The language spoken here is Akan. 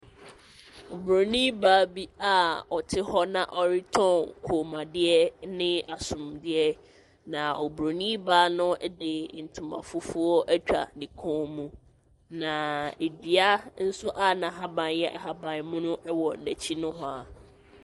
Oburoni baa bi a, ɔte hɔ na ɔretɔn kɔnmuadeɛ ɛne asomadeɛ na oburoni baa no ɛde ntoma fufuo atwa ne kɔn mu na ɛdua nso a, na ahaban yɛ ahaban mono ɛwɔ n'akyi no waa.